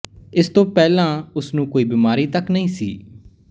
ਇਸ ਤੋਂ ਪਹਿਲਾਂ ਉਸਨੂੰ ਕੋਈ ਬਿਮਾਰੀ ਤੱਕ ਨਹੀਂ ਸੀ